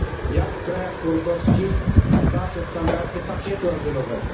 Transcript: Jak w krajach członkowskich dbać o standardy pakietu azylowego?